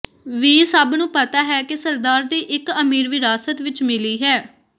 ਵੀ ਸਭ ਨੂੰ ਪਤਾ ਹੈ ਕਿ ਸਰਦਾਰ ਦੀ ਇੱਕ ਅਮੀਰ ਵਿਰਾਸਤ ਵਿਚ ਮਿਲੀ ਹੈ